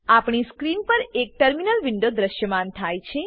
આપણી સ્ક્રીન પર એક ટર્મિનલ વિન્ડો દ્રશ્યમાન થાય છે